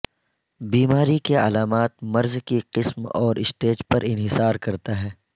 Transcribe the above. بیماری کی علامات مرض کی قسم اور اسٹیج پر انحصار کرتا ہے